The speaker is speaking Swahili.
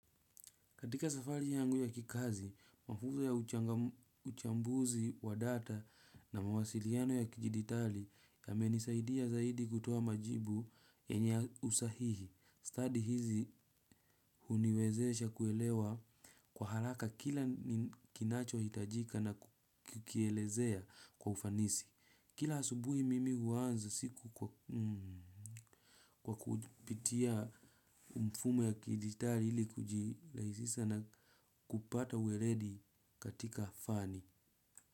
Katika safari yangu ya kikazi, mafuzo ya uchambuzi wa data na mawasiliano ya kijiditali ya menisaidia zaidi kutuoa majibu yenya usahihi. Study hizi uniwezesha kuelewa kwa haraka kila kinacho hitajika na kukielezea kwa ufanisi. Kila asubuhi mimi huanza siku kwa kupitia mfume ya kiditari ili kuji raisisa na kupata uweledi katika fani.